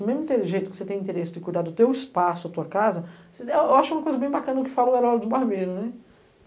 Do mesmo jeito que você tem interesse de cuidar do teu espaço, da tua casa, eu acho uma coisa bem bacana o que falou o Herói do Barbeiro.